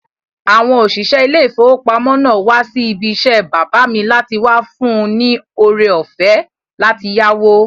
Àwọn òṣìṣẹ́ ilé ìfowópamọ́ náà wá sí ibi isẹ́ bàbá mi láti wá fún un ní ore-ọ̀fẹ́ láti yáwó